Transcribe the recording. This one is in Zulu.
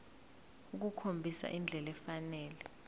ukukhombisa indlela efanele